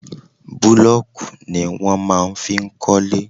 Búlọ́ọ̀kù ni wọ́n máa ń fi ń kọ́lé.